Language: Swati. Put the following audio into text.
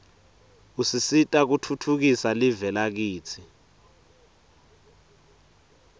usisita kutfutfukisa live lakitsi